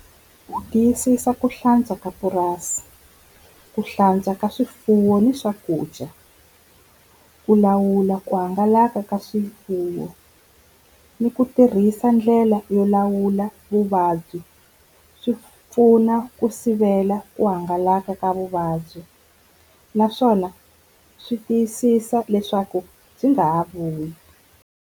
Ku tiyisisa ku hlantswa ka purasi, ku hlantswa ka swifuwo ni swakudya, ku lawula ku hangalaka ka swifuwo ni ku tirhisa ndlela la yo lawula vuvabyi swi pfuna ku sivela ku hangalaka ka vuvabyi, naswona swi tiyisisa leswaku byi nga ha vuyi.